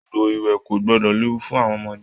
Odò ìwẹ̀ ko gbọdọ léwu fún àwọn ọmọdé.